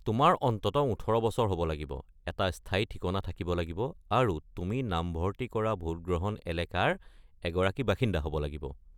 তোমাৰ অন্ততঃ ১৮ বছৰ হ'ব লাগিব, এটা স্থায়ী ঠিকনা থাকিব লাগিব আৰু তুমি নামভৰ্তি কৰা ভোটগ্ৰহণ এলেকাৰ এগৰাকী বাসিন্দা হ'ব লাগিব।